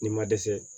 Ni ma dɛsɛ